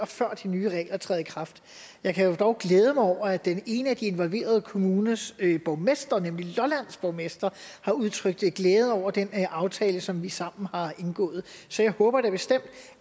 før de nye regler træder i kraft jeg kan dog glæde mig over at den ene af de involverede kommuners borgmester nemlig lollands borgmester har udtrykt glæde over den aftale som vi sammen har indgået så jeg håber da bestemt